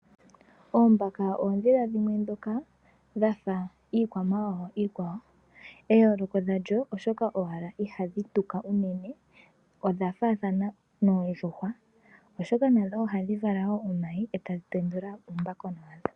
Oombaka oondhila dhimwe ndhoka dha fa iikwamawawa iikwawo. Eyooloko lya dho oshoka owala ihadhi tuka unene. Odha faathana noondjuhwa, oshoka nadho ohadhi vala omayi e tadhi tendula uumbakona wadho.